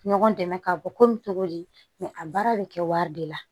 Ɲɔgɔn dɛmɛ ka bɔ komi togo di a baara bɛ kɛ wari de la